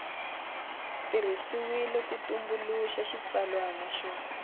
tirhisiwile ku tumbuluxa xitsalwana xo